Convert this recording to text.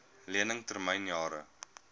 lening termyn jare